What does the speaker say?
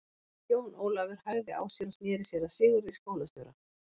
Jón Ólafur hægði á sér og sneri sér að Sigurði skólastjóra.